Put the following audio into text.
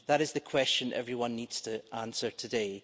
That is the question everyone needs to answer today.